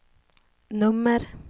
nummer